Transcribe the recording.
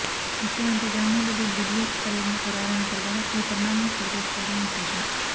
ముఖ్యమంత్రి జగన్మోహన్రెడ్డి ఢిల్లీ పర్యటన ఖరారైన తరువాత ఈ పరిణామం చోటుచేసుకోడవం విశేషం